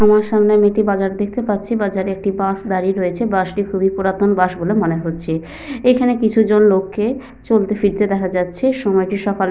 আমার সামনে আমি একটি বাজার দেখতে পাচ্ছি। বাজারে একটি বাস দাঁড়িয়ে রয়েছে। বাস -টি খুবই পুরাতন বাস বলে মনে হচ্ছে। এখানে কিছু জন লোককে চলতে ফিরতে দেখা যাচ্ছে। সময়টি সকালের --